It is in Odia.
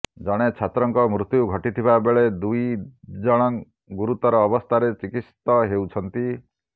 ଜଣେ ଛାତ୍ରଙ୍କ ମୃତ୍ୟୁ ଘଟିଥିବା ବେଳେ ଦୁଇ ଜଣ ଗୁରୁତର ଅବସ୍ଥାରେ ଚିକିତ୍ସିତ ହେଉଛନ୍ତି